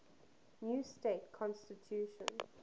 new state constitution